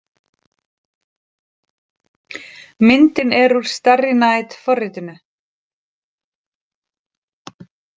Myndin er úr Starry Night forritinu.